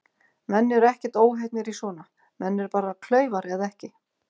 Menn eru ekkert óheppnir í svona, menn eru bara klaufar eða ekki.